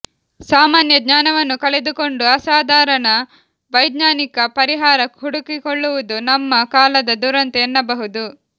ಸಾಮಾನ್ಯಜ್ಞಾನವನ್ನು ಕಳೆದುಕೊಂಡು ಅಸಾಧಾರಣ ವೈಜ್ಞಾನಿಕ ಪರಿಹಾರ ಹುಡುಕಿಕೊಳ್ಳುವುದು ನಮ್ಮ ಕಾಲದ ದುರಂತ ಎನ್ನಬಹುದು